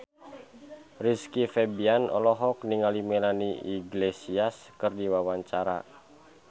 Rizky Febian olohok ningali Melanie Iglesias keur diwawancara